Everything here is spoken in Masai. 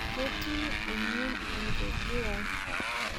Ketii emion enkeju ai.